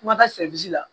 Kumada la